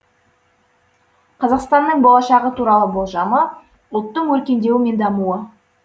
қазақстанның болашағы туралы болжамы ұлттың өркендеуі мен дамуы